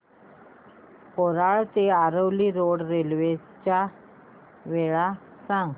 कोलाड ते Aravali road railway च्या वेळा सांग